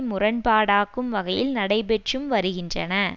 முரண்பாடாக்கும் வகையில் நடைபெற்றும் வருகின்றன